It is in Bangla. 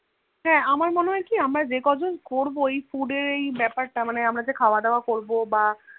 হ্যান আমার মনেহয় আমরা যে কজন আরকি Food এর এই বেপার তা আমরা যে খাওয়া দাও করবো যে বা